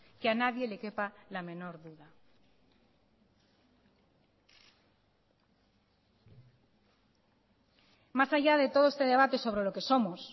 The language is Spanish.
que a nadie le quepa la menor duda más allá de todo este debate sobre lo que somos